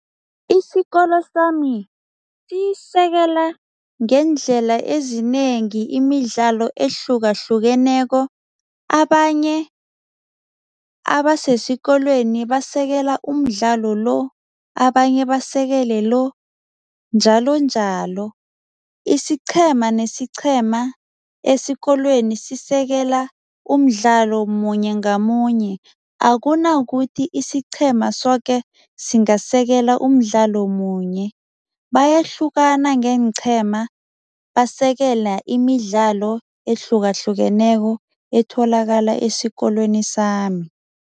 Isikolo sami siyisekela ngeendlela ezinengi imidlalo ehlukahlukeneko. Abanye abasesikorweni basekela umdlalo lo, abanye babasekele lo, njalonjalo. Isiqhema nesiqhema esikolweni sisekela umdlalo munye ngamunye, akunakuthi isiqhema soke singasekela umdlalo munye, bayahlukana ngeenqhema basekela imidlalo ehlukahlukeneko etholakala esikolweni sami.